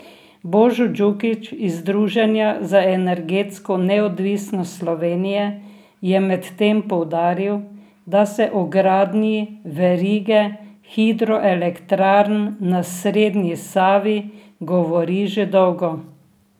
Božo Dukić iz Združenja za energetsko neodvisnost Slovenije je medtem poudaril, da se o gradnji verige hidroelektrarn na srednji Savi govori že dolgo.